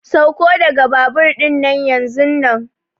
Sauko daga babur dinnan yanzunnan!